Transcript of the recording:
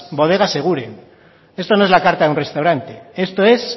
bodegas eguren esto no es la carta de un restaurante esto es